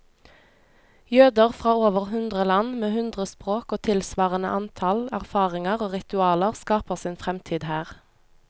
Jøder fra over hundre land, med hundre språk og tilsvarende antall erfaringer og ritualer, skaper sin fremtid her.